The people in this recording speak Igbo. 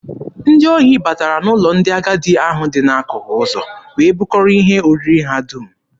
Ndị ohi batara n'ụlọ ndị agadi ahụ dị n'akụkụ ụzọ wee bukọrọ ihe oriri ha dum.